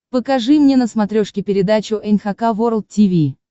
покажи мне на смотрешке передачу эн эйч кей волд ти ви